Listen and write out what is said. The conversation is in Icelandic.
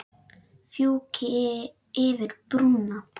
Fjúki yfir brúna.